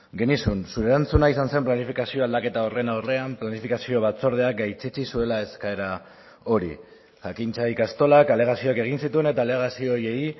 genizun zure erantzuna izan zen planifikazio aldaketa horren aurrean planifikazio batzordeak gaitzetsi zuela eskaera hori jakintza ikastolak alegazioak egin zituen eta alegazio horiei